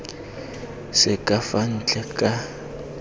se ka fa ntle ka